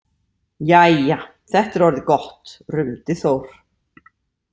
Jæja, þetta er orðið gott, rumdi Þór.